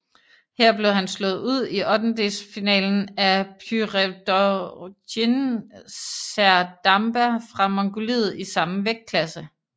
Her blev han slået ud i ottendelsfinalen af Pürevdorjiin Serdamba fra Mongoliet i samme vægtklasse